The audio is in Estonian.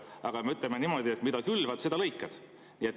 Aga ütleme niimoodi, et mida külvad, seda lõikad.